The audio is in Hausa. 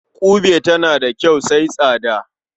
Ƙube tana da kyau sai tsada.